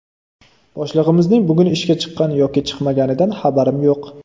Boshlig‘imizning bugun ishga chiqqan yoki chiqmaganidan xabarim yo‘q.